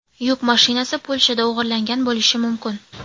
Yuk mashinasi Polshada o‘g‘irlangan bo‘lishi mumkin.